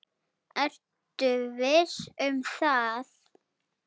Ertu viss um það?